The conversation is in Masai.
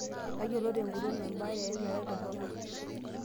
Tayiolo tenguton baaare emerai toronok.